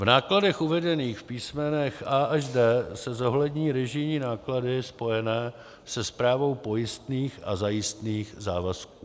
V nákladech uvedených v písmenech a) až d) se zohlední režijní náklady spojené se správou pojistných a zajistných závazků.